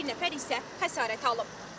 Bir nəfər isə xəsarət alıb.